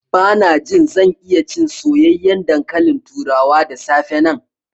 Bana jin zan iya cin soyayyen dankalin turawa da safe nan.